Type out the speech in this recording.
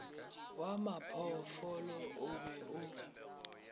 wa maphoofolo o be o